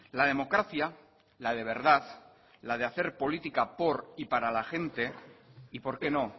la democracia la de verdad la de hacer política por y para la gente y porqué no